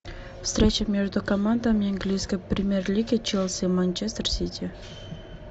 встреча между командами английской премьер лиги челси манчестер сити